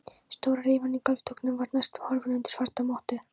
Stóra rifan í gólfdúknum var næstum horfin undir svarta mottu.